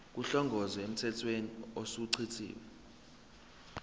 kuhlongozwe emthethweni osuchithiwe